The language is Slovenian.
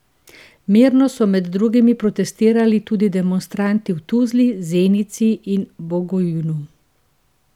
Mirno so med drugim protestirali tudi demonstranti v Tuzli, Zenici in Bugojnu.